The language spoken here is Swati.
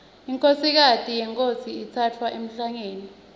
inkhosikati yenkhosi itsatfwa emhlangeni